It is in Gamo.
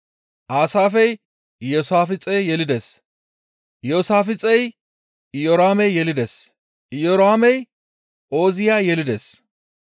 Aasaafey Iyoosaafixe yelides; Iyoosaafixey Iyoraame yelides; Iyoraamey Ooziya yelides;